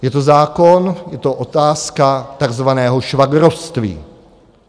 Je to zákon, je to otázka takzvaného švagrovství.